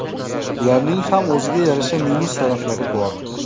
Ularning ham o‘ziga yarasha minus taraflari bor.